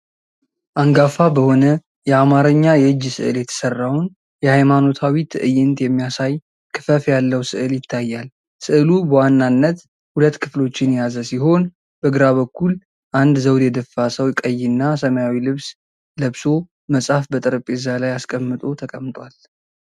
አንጋፋ በሆነ የአማርኛ የእጅ ስዕል የተሰራውን የሃይማኖታዊ ትዕይንት የሚያሳይ ክፈፍ ያለው ሥዕል ይታያል። ሥዕሉ በዋነኛነት ሁለት ክፍሎችን የያዘ ሲሆን፣ በግራ በኩል አንድ ዘውድ የደፋ ሰው ቀይና ሰማያዊ ልብስ ለብሶ መጽሐፍ በጠረጴዛ ላይ አስቀምጦ ተቀምጧል።